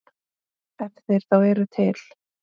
Ef þeir þá eru til.